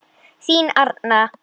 Þín Arna.